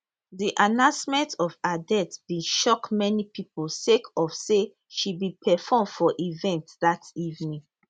di announcement of her death bin shock many pipo sake of say she bin perform for event dat evening